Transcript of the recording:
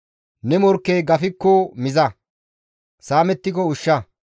Ne morkkey gafikko miza; saamettiko ushsha.